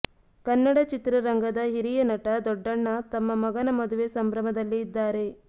ಕನ್ನಡ ಚಿತ್ರರಂಗದ ಹಿರಿಯ ನಟ ದೊಡ್ಡಣ್ಣ ತಮ್ಮ ಮಗನ ಮದುವೆ ಸಂಭ್ರಮದಲ್ಲಿ ಇದ್ದಾರೆ